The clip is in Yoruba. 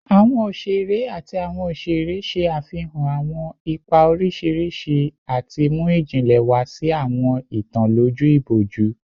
Awọn oṣere ati awọn oṣere ṣe afihan awọn ipa oriṣiriṣi ati mu ijinle wa si awọn itan loju iboju